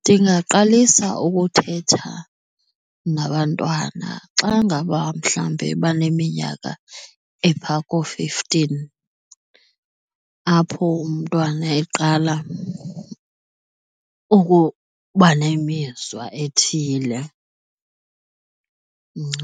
Ndingaqalisa ukuthetha nabantwana xa ngaba mhlawumbi baneminyaka epha koo-fifteen apho umntwana eqala ukuba nemizwa ethile,